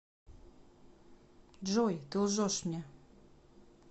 джой ты лжешь мне